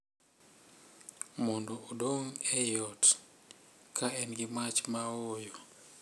mondo odong’ ei ot, ka en gi mach ma ooyo, .